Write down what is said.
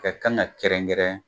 Kɛ kan ka kɛrɛnkɛrɛn